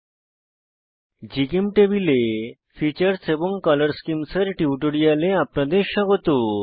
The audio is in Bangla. নমস্কার জিচেমটেবল এ ফিচার্স ফীচার্স এবং কলর স্কিমস কলর স্কীমস এর টিউটোরিয়ালে আপনাদের স্বাগত